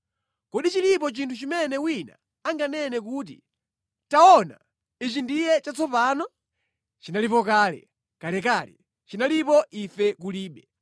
Kodi chilipo chinthu chimene wina anganene kuti, “Taona! Ichi ndiye chatsopano?” Chinalipo kale, kalekale; chinalipo ife kulibe.